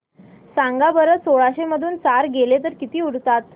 सांगा बरं सोळाशे मधून चार गेले तर किती उरतात